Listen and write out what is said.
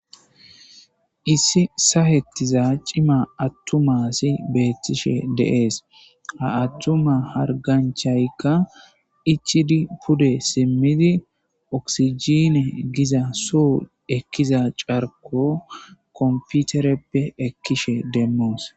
Isso saketiza cima atyuma asi he de'es ha atuma harganchayka ichidi pude simido okisijine goza so ekiza Carlo kompotereppe ekishin demos.